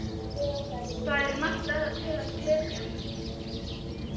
Þar er margt til að glepja.